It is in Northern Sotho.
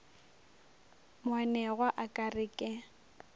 moanegwa a ka re ke